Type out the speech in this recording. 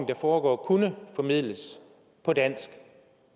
der foregår kunne formidles på dansk